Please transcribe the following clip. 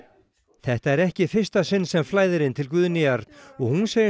þetta er ekki í fyrsta sinn sem flæðir inn til Guðnýjar og hún segist